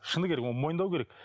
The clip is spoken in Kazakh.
шыны керек оны мойындау керек